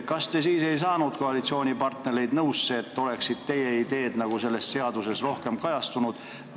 Kas te siis ei saanud koalitsioonipartnereid nõusse, et teie ideed oleksid selles seaduses rohkem kajastunud?